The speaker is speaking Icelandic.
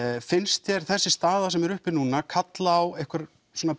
finnst þér þessi staða sem er uppi núna kalla á einhver